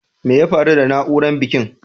Mai ya faru da nauran bankin?